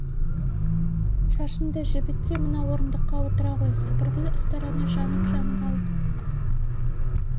шашыңды жібіт те мына орындыққа отыра ғой сыпырып тастайын деді әбіл ұстараны жанып-жанып алып